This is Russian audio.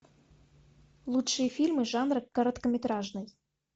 лучшие фильмы жанра короткометражный